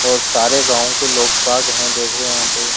और सारे गांव के लोक भाग हैं देखो यहां पे --